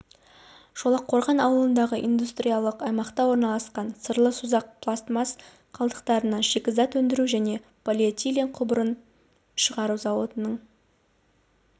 шолаққорған ауылындағы индустриялық аймақта орналасқан сырлы созақ пластмас қалдықтарынан шикізат өндіру және полиэтилен құбырын шығару зауытының